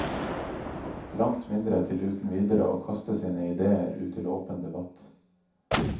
Langt mindre til uten videre å kaste sine idéer ut til åpen debatt.